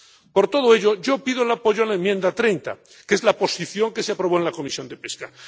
Por todo ello, yo pido el apoyo a la enmienda 30, que es la posición que se aprobó en la Comisión de Pesca.